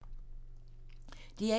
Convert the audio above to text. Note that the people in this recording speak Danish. DR1